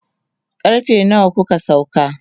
karfe nawa kuka sauka?